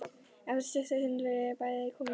Eftir stutta stund voru þau bæði komin á kreik.